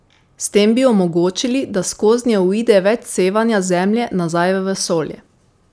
S tem bi omogočili, da skoznje uide več sevanja z Zemlje nazaj v vesolje.